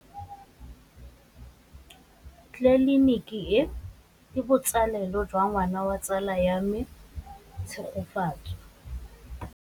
Tleliniki e, ke botsalêlô jwa ngwana wa tsala ya me Tshegofatso.